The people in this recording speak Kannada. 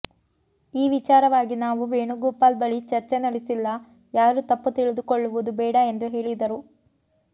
ಈ ವಿಚಾರವಾಗಿ ನಾವು ವೇಣುಗೋಪಾಲ್ ಬಳಿ ಚರ್ಚೆ ನಡೆಸಿಲ್ಲ ಯಾರು ತಪ್ಪು ತಿಳಿದುಕೊಳ್ಳುವುದು ಬೇಡ ಎಂದು ಹೇಳಿದರು